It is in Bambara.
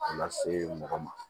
A lase mɔgɔ ma